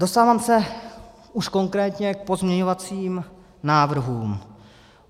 Dostávám se už konkrétně k pozměňovacím návrhům.